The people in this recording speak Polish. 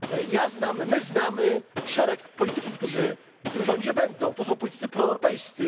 Ja znam i my znamy szereg polityków, którzy w tym rządzie będą to są politycy proeuropejscy.